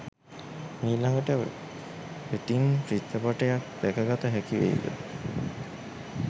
මීළඟට වෙතින් චිත්‍රපටයක් දැකගත හැකි වෙයිද?